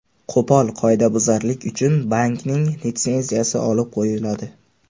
Qo‘pol qoidabuzarlik uchun bankning litsenziyasi olib qo‘yiladi.